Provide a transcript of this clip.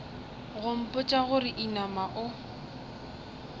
go mpotša gore inama o